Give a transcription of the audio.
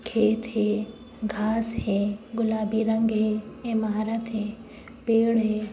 खेत है। घाँस है। गुलाबी रंग है। एमारत है। पेड़ है।